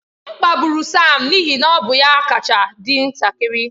M kpagburu Sam n'ihi na ọ bụ ya kacha dị ntakịrị.